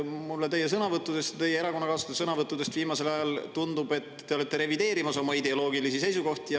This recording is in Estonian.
Mulle teie sõnavõttudest ja teie erakonnakaaslaste sõnavõttudest viimasel ajal tundub, et te olete revideerimas oma ideoloogilisi seisukohti.